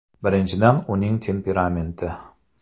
Birinchidan uning temperamenti.